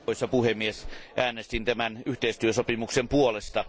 Arvoisa puhemies, äänestin tämän yhteistyösopimuksen puolesta.